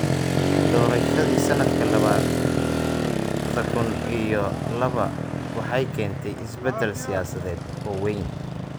Doorashadii sanadka labada kun iyo laba waxay keentay isbedel siyaasadeed oo weyn.